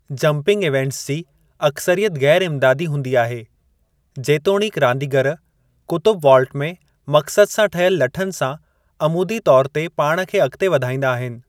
Jumping events जी अक्सरियत ग़ैरु इम्दादी हूंदी आहे, जेतोणीकि रांदीगरु क़ुतबु वाल्ट में मक़्सदु सां ठहियल लठन सां अमूदी तौर ते पाण खे अॻिते वधाईंदा आहिनि।